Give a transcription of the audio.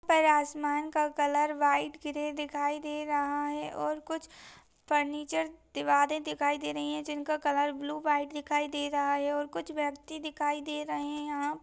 ऊपर आसमान का कलर व्हाइट ग्रे दिखाई दे रहा है और कुछ फर्नीचर दीवारें दिखाई दे रही है जिनका कलर ब्लू व्हाइट दिखाई दे रहा है और कुछ व्यक्ति दिखाई दें रही है यहाँ--